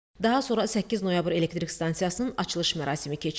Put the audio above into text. Daha sonra 8 Noyabr Elektrik Stansiyasının açılış mərasimi keçirildi.